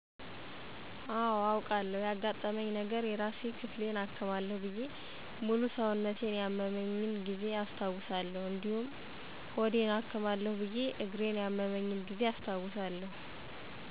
አወ አውቃለሁ ያገጠመኛ ነገረ የራስ ክፍሌን አክማለሁ ብየ ሙሉ ሰውነቴን ያመመኛ ጊዜ አስታውሳለሁ እዲሁም ሆዴን አክማለሁ ብየ እግሪን ያመመኝን ጊዜ አስታውሳለሁ።